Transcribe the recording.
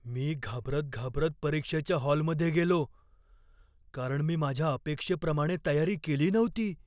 मी घाबरत घाबरत परीक्षेच्या हॉलमध्ये गेलो कारण मी माझ्या अपेक्षेप्रमाणे तयारी केली नव्हती.